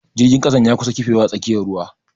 Jirgin kasan ya kusa kifewa a tsakiyar ruwa.